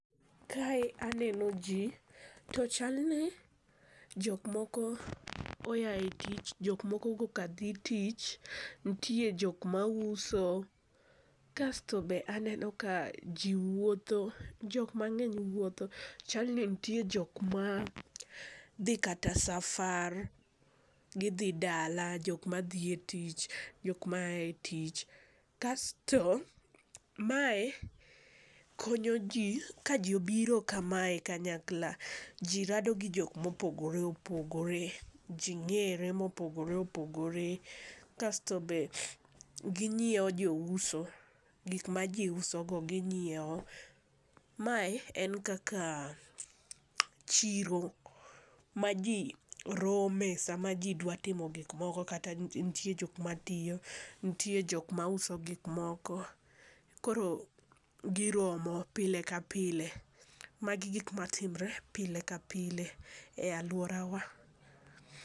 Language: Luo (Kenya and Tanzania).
Kae aneno ji to chalni jok moko oa e tich jok moko koka dhi tich, nitie jok ma uso kasto be aneno ji wuotho jok ma ng'eny wuotho chal ni nitie jok ma dhi kata safar gi dhi dala ,jok ma dhi e tich, jok ma aa e tich. Kasto mae konyo ji ka ji obiro ka ma kanyakla ji rado gi jok ma opogore opogore, ji ng'ere ma opogore opogore, kasto be gi ng'iewo jo uso gik ma ji uso go gi ng'iewo. Mae en kaka chiro ma ji rome sa ma ji dwa timo gik moko kata nitie jok ma tiyo, nitie jok ma uso gik moko, koro gi romo pile ka pile ma gi gik ma timore pile ka pile e aluora wa.